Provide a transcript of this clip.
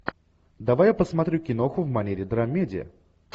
давай я посмотрю киноху в манере драмеди